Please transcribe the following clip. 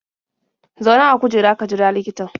Zauna a kujera ka jira likitan.